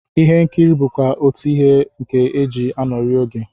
Ihe nkiri bụkwa otú ihe nke e ji anọrị oge